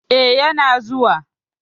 Eh, yana zuwa.